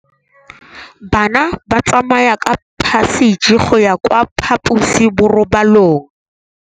Bana ba tsamaya ka phašitshe go ya kwa phaposiborobalong.